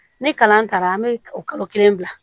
Ni kalan taara an bɛ kalo kelen bila